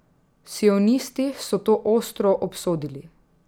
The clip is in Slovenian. Sionisti so to ostro obsodili.